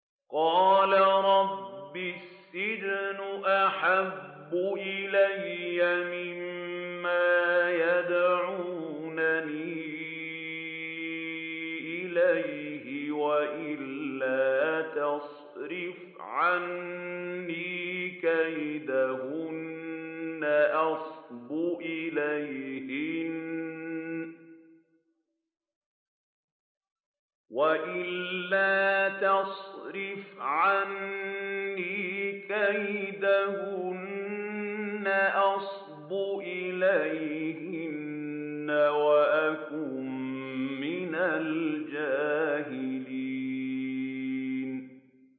قَالَ رَبِّ السِّجْنُ أَحَبُّ إِلَيَّ مِمَّا يَدْعُونَنِي إِلَيْهِ ۖ وَإِلَّا تَصْرِفْ عَنِّي كَيْدَهُنَّ أَصْبُ إِلَيْهِنَّ وَأَكُن مِّنَ الْجَاهِلِينَ